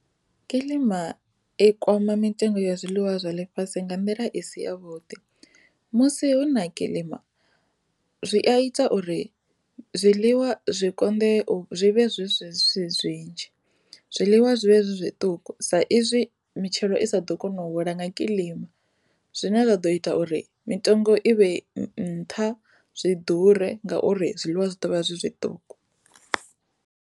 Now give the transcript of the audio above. Kiḽima i kwama mitengo ya zwiḽiwa zwa ḽifhasi nga nḓila i si ya vhuḓi musi hu na kiḽima zwi a ita uri zwiḽiwa zwi konḓe zwi vhe zwi swe zwinzhi zwiḽiwa zwi vhe zwi zwiṱuku sa izwi mitshelo i sa ḓo kona u hula nga kilima zwine zwa ḓo ita uri mitengo i vhe nṱha zwi ḓure ngauri zwiḽiwa zwi ḓovha zwi zwiṱuku.